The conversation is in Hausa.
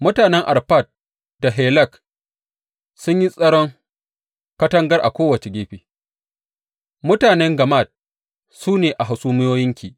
Mutanen Arfad da Helek sun yi tsaron katangar a kowace gefe; mutanen Gammad su ne a hasumiyoyinki.